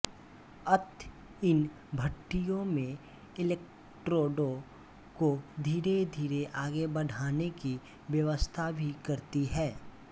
अत इन भट्ठियों में एलेक्ट्रोडों को धीरे धीरे आगे बढ़ाने की व्यवस्था भी करती है